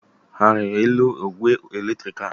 Ha a rịrị elu ogwé eletriki a?